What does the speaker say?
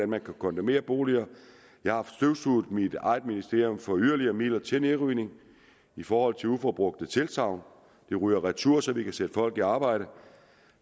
man kan kondemnere boliger jeg har støvsuget mit eget ministerium for yderligere midler til nedrivning i forhold til uforbrugte tilsagn de ryger retur så vi kan sætte folk i arbejde